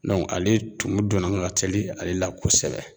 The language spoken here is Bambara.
Dɔn ale tumun donna ka teli ale la kosɛbɛ